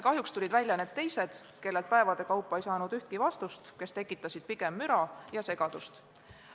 Kahjuks tulid välja ka need teised, kellelt päevade kaupa ei saanud ühtki vastust, kes tekitasid pigem müra ja segadust.